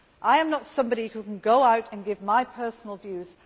I am not somebody who can go out and give my personal views.